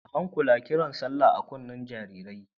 A hankula kiran sallah a kunnen jaririn!